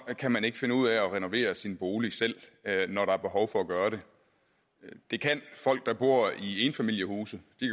kan man ikke finde ud af at renovere sin bolig selv når der er behov for at gøre det det kan folk der bor i enfamilieshuse